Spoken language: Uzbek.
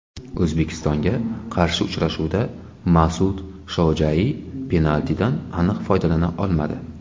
O‘zbekistonga qarshi uchrashuvda Mas’ud Shojaiy penaltidan aniq foydalana olmadi.